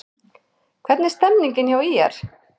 Hvernig er stemningin hjá ÍR?